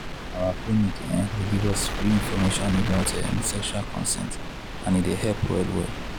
our clinic um dey give us give us free information um about sexual consent and e dey help well well.